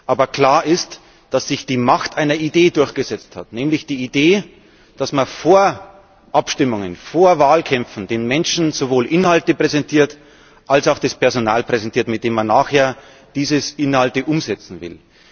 Aber klar ist, dass sich die Macht einer Idee durchgesetzt hat, nämlich der Idee, dass man vor Abstimmungen, vor Wahlkämpfen den Menschen sowohl Inhalte präsentiert als auch das Personal, mit dem man nachher diese Inhalte umsetzen will.